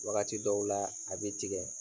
Wagati dɔw la a b'i tigɛ.